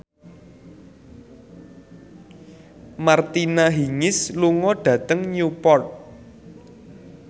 Martina Hingis lunga dhateng Newport